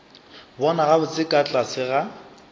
bona gabotse ka tlase ga